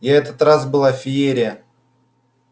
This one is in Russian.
я этот раз была феерия